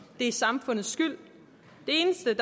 det er samfundets skyld det eneste